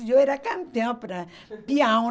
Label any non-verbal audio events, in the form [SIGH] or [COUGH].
Eu era campeã para [LAUGHS] pião.